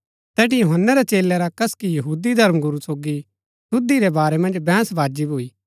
तैठी यूहन्‍नै रै चेलै रा कसकी यहूदी धर्मगुरू सोगी शुद्धी रै बारै मन्ज बैहंस बाजी भूई